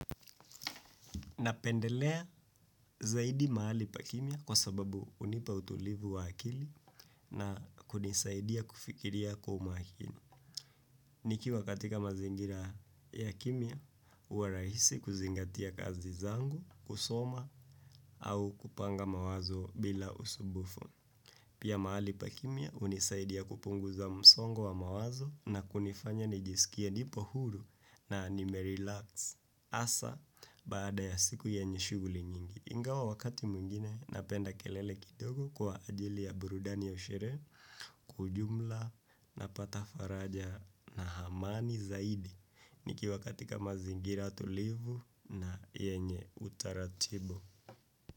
Napendelea zaidi mahali pa kimya kwa sababu hunipa utulivu wa akili na kunisaidia kufikiria kwa umakini. Nikiwa katika mazingira ya kimya, huwa rahisi kuzingatia kazi zangu, kusoma au kupanga mawazo bila usumbufu. Pia mahali pa kimya unisaidia kupunguza msongo wa mawazo na kunifanya nijisikie nipo huru na nimerelax hasa baada ya siku yenye shughuli nyingi. Ingawa wakati mwingine napenda kelele kidogo kwa ajili ya burudani ya sherehe kwa ujumla napata faraja na amani zaidi nikiwa katika mazingira tulivu na yenye utaratibu.